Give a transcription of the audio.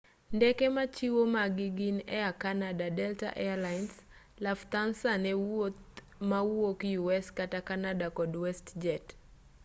ndeke machiwo magi gin air canada delta air lines lufthansa ne wuoth mawuok u s kata canada kod westjet